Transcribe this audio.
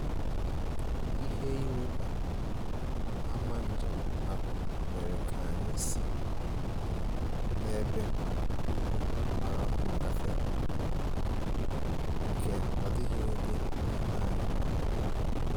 Ihe ịrịba ama njem ahụ mere ka anyị si um n'ebe ugwu mara mma gafere, nke ọ dịghị onye n'ime anyị maara